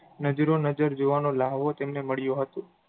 નજરો-નજર જોવાનો લાહવો તેમણે મળ્યો હતો.